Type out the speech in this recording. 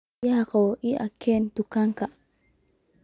biyo qaboow ii ha keen tukanka